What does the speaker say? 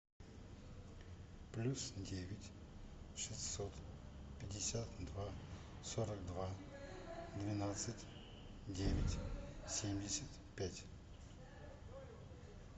плюс девять шестьсот пятьдесят два сорок два двенадцать девять семьдесят пять